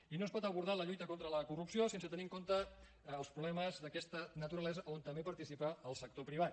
i no es pot abordar la lluita contra la corrupció sense tenir en compte els problemes d’aquesta naturalesa on també participa el sector privat